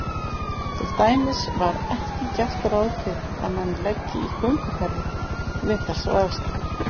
Til dæmis er ekki gert ráð fyrir að menn leggi í gönguferðir við þessar aðstæður.